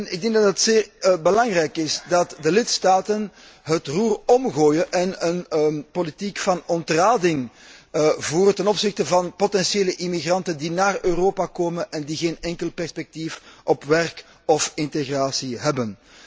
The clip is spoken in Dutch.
Ik denk dat het zeer belangrijk is dat de lidstaten het roer omgooien en een politiek van ontrading voeren ten opzichte van potentiële immigranten die naar Europa komen en die geen enkel perspectief op werk of integratie hebben.